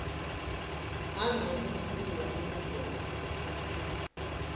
nanobe kwentiwe imigomo